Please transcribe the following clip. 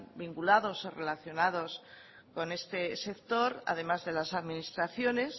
vinculados o relacionados con este sector además de las administraciones